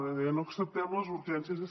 deia no acceptem les urgències